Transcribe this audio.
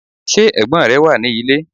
Ṣé ẹ̀gbọ́n rẹ wà ní ilé?